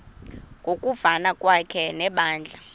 ngokuvana kwakhe nebandla